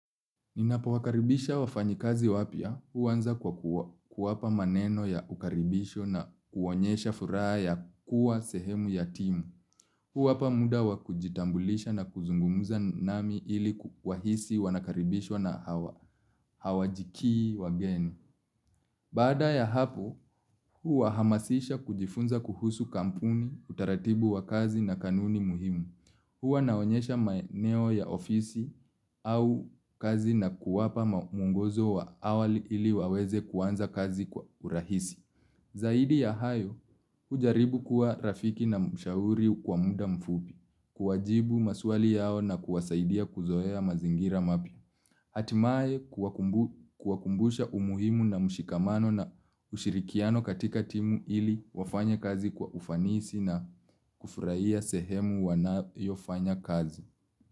Ninapo wakaribisha wafanyikazi wapya, huanza kwa kuwapa maneno ya ukaribisho na kuonyesha furaha ya kuwa sehemu ya timu. Huwapa muda wa kujitambulisha na kuzungumza nami ili wahisi wanakaribishwa na hawajikii wageni. Bada ya hapo, huwahamasisha kujifunza kuhusu kampuni, utaratibu wa kazi na kanuni muhimu. Huwa naonyesha maeneo ya ofisi au kazi na kuwapa mwongozo wa awali, ili waweze kuanza kazi kwa urahisi. Zaidi ya hayo, hujaribu kuwa rafiki na mshauri kwa muda mfupi. Kuwajibu maswali yao na kuwasaidia kuzoea mazingira mapya. Hatimae kuwakumbusha umuhimu na mshikamano na ushirikiano katika timu ili wafanye kazi kwa ufanisi na, kufurahia sehemu wanayofanya kazi.